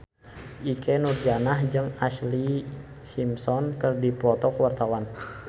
Ikke Nurjanah jeung Ashlee Simpson keur dipoto ku wartawan